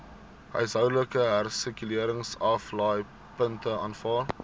huishoudelike hersirkuleringsaflaaipunte aanvaar